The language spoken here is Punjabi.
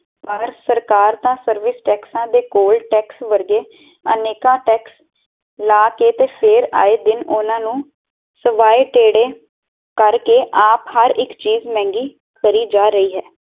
ਸਰਕਾਰ ਤਾ ਸਰਵਿਸ ਟੈਕਸਾ ਤੇ ਕੋਲ ਟੈਕਸ ਵਰਗੇ ਅਨੇਕਾਂ ਟੈਕਸ ਲੈ ਕੇ ਤੇ ਫੇਰ ਆਏ ਦਿਨ ਓਹਨਾ ਨੂੰ ਸਿਵਾਏ ਤੇੜੇ ਕਰ ਕੇ ਆਪ ਹਰ ਚੀਜ਼ ਮਹਿੰਗੀ ਕਰਿ ਜਾ ਰਹੀ ਹੈ